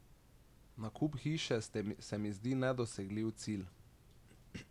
Nakup hiše se mi zdi nedosegljiv cilj.